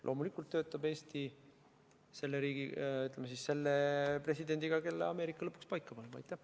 Loomulikult töötab Eesti selle presidendiga, kelle Ameerika lõpuks paika paneb.